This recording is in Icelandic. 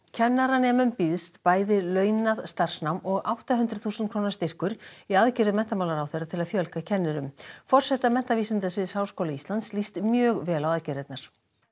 kennaranemum býðst bæði launað starfsnám og átta hundruð þúsund króna styrkur í aðgerðum menntamálaráðherra til að fjölga kennurum forseta menntavísindasviðs Háskóla Íslands líst mjög vel á aðgerðirnar